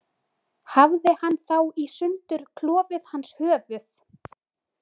Hafði hann þá í sundur klofið hans höfuð.